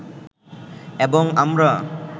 এবং আমরা